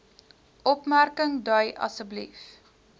opmerking dui asb